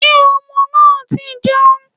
Sé ọmọ náà ti jẹun